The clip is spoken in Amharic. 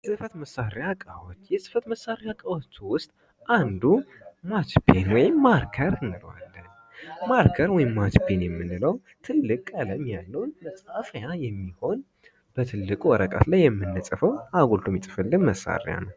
ፅህፈት መሳሪያ እቃዎች የፅህፈት መሳሪያ እቃዎችአንዱ ማችፔን ወይም ማርከር እንለዋለን:: ማርከር ወይም ማችፔን የምንለው ትልቅ ቀለም ያለውን መፃፊያ የሚሆን በትልቁ ወረቀት ላይ የምንፅፈው አጉልቶ የሚፅፍልን መሳሪያ ነው::